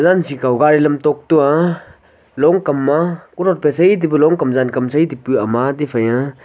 jinchih kau gari lam tok a longkam ma kothon phai sey tepu lonhkam zankam sey tipu ama tiphaiya--